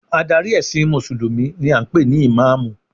Adarí ẹ̀sìn mùsùlùmí ni a ń pè ní ìmáàmù